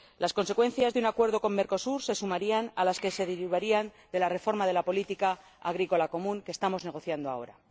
Las consecuencias de un acuerdo con Mercosur se sumarían a las que se derivarían de la reforma de la Política Agrícola Común que estamos negociando ahora.